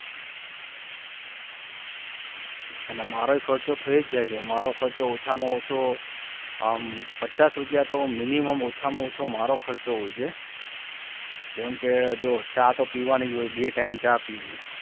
અને મારો ખર્ચો થઈ જ જાય છે મારો ખર્ચો ઓછામાં ઓછો પચાસ રૂપિયા તો minimum ઓછામાં ઓછો મારો ખર્ચો હોય છે જેમ કે જો ચા તો પીવાની જ હોય બે time ચા પીવું.